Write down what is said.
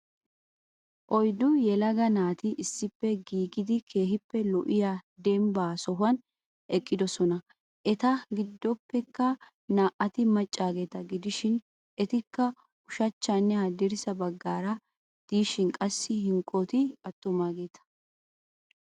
oyddu yeelagaa naati issippe gididi keehippe lo'iya dembba sohuwan eqqidosonna. eta giddoppekka naa"ati maaccagetaa gidishin etika ushshachanne haadirssa baggara dishin qassi hankkoti aatumageeta.